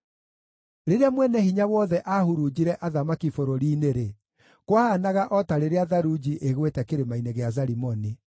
Rĩrĩa Mwene-Hinya-Wothe aahurunjire athamaki bũrũri-inĩ-rĩ, kwahaanaga o ta rĩrĩa tharunji ĩgwĩte kĩrĩma-inĩ gĩa Zalimoni.